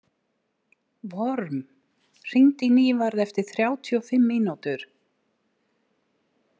Vorm, hringdu í Nývarð eftir þrjátíu og fimm mínútur.